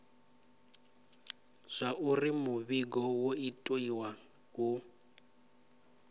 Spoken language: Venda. zwauri muvhigo wo itiwa hu